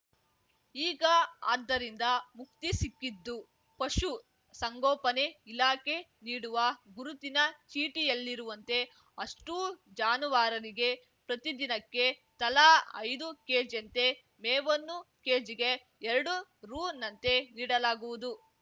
ಈಗ ಅದ್ದರಿಂದ ಮುಕ್ತಿ ಸಿಕ್ಕಿದ್ದು ಪಶು ಸಂಗೋಪನೆ ಇಲಾಖೆ ನೀಡುವ ಗುರುತಿನ ಚೀಟಿಯಲ್ಲಿರುವಂತೆ ಅಷ್ಟೂ ಜಾನುವಾರರಿಗೆ ಪ್ರತಿದಿನಕ್ಕೆ ತಲಾ ಐದು ಕೆಜಿಯಂತೆ ಮೇವನ್ನು ಕೆಜಿಗೆ ಎರಡು ರೂ ನಂತೆ ನೀಡಲಾಗುವುದು